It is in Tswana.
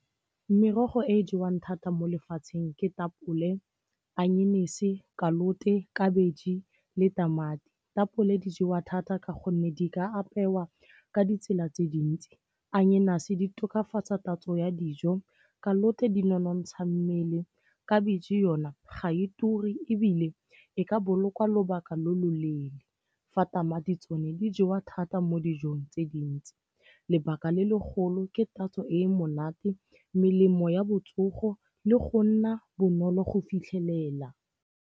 Merogo e e jewang thata mo lefatsheng ke tapole, onion-ise, khabetšhe le tamati. Tapole di jewa thata ka gonne di ka apewa ka ditsela tse dintsi. Onion-ise di tokafatsa tatso ya dijo, di nonontsha mmele, khabetšhe yona ga e ture ebile e ka bolokwa lobaka lo loleele. Fa tamati tsone di jewa thata mo dijong tse dintsi. Lebaka le legolo ke tatso e monate, melemo ya botsogo le go nna bonolo go fitlhelela.